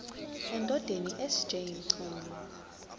endodeni sj mchunu